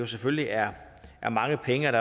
selvfølgelig er er mange penge og